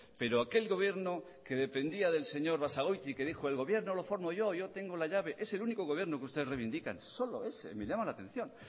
pero aquel gobierno que dependía del señor basagoiti que dijo el gobierno lo formo yo yo tengo la llave es el único gobierno que ustedes reivindican solo ese me llama la atención